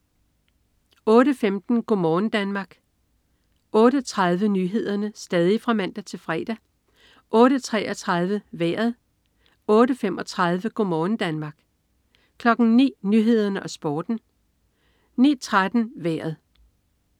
08.15 Go' morgen Danmark (man-fre) 08.30 Nyhederne (man-fre) 08.33 Vejret (man-fre) 08.35 Go' morgen Danmark (man-fre) 09.00 Nyhederne og Sporten (man-fre) 09.13 Vejret (man-fre)